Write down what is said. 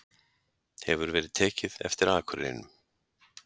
hefur verið tekið eftir akurreinum.